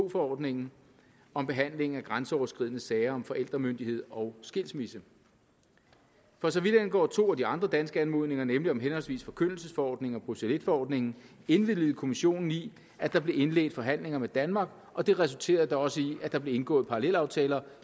forordningen om behandling af grænseoverskridende sager om forældremyndighed og skilsmisse for så vidt angår to af de andre danske anmodninger nemlig om henholdsvis forkyndelsesforordningen og bruxelles i forordningen indvilgede kommissionen i at der blev indledt forhandlinger med danmark og det resulterede da også i at der blev indgået parallelaftaler